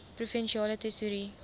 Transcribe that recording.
provinsiale tesourie